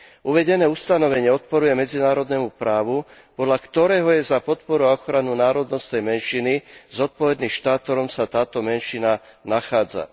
Uvedené ustanovenie odporuje medzinárodnému právu, podľa ktorého je za podporu a ochranu národnostnej menšiny zodpovedný štát, v ktorom sa táto menšina nachádza.